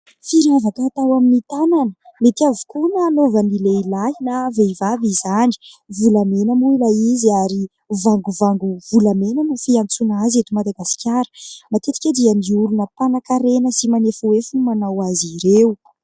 Firavaka atao amin'ny tanana, mety avokoa na anaovan'ny lehilahy na vehivavy izany. Volamena moa ilay izy, ary vangovango volamena no fiantsoana azy eto Madagasikara. Matetika dia ny olona mpanan-karena sy manefohefo no manao azy ireo.